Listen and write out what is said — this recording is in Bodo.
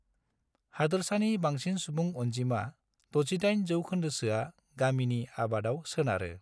हादोरसानि बांसिन सुबुं अनजिमा, 68 जौखोन्दोसोआ, गामिनि आबादाव सोनारो।